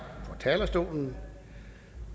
på talerstolen